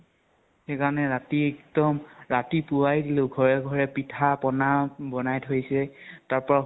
সেইকাৰণে ৰাতি একদম ৰাতিপুৱাই দিলো, ঘৰে ঘৰে পিঠা পনা বনাই থৈছে, তাৰ পৰা